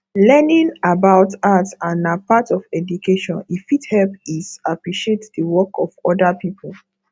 learning about art and na part of education e fit help is appreciate the work of oda pipo